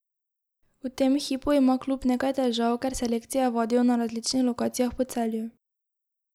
V tem hipu ima klub nekaj težav, ker selekcije vadijo na različnih lokacijah po Celju.